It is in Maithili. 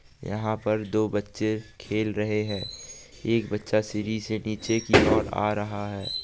यहां पर दो बच्चे खेल रहे है एक बच्चा सीडि से नीचे की और आ रहा है।